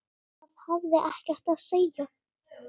Það hafði ekkert að segja.